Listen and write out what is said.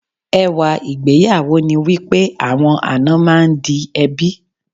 Ẹwà ìgbéyàwó ni wípé àwọn àna máa ń di ẹbí.